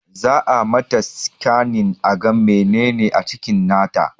Za a mata sikanin aga menene a cikin nata